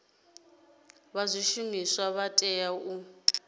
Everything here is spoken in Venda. vha zwishumiswa vha tea u